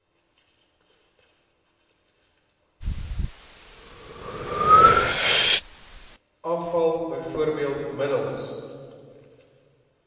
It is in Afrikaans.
afval bv middels